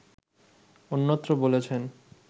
অন্যত্র বলেছেন